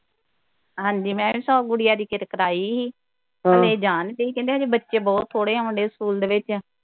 ਹਾਂਜੀ ਮੈਂ ਵੀ ਸਗੋਂ ਗੁੜੀਆ ਦੀ ਕਿਤੇ ਕਰਾਈ ਸੀ ਇਹ ਜਾਣ ਨਈਂ ਰਹੀ ਕਹਿੰਦੇ ਹਜੇ ਬੱਚੇ ਬਹੁਤ ਥੋੜੇ ਆਉਂਦੇ ਡੈ ਸਕੂਲ ਦੇ ਵਿਚ।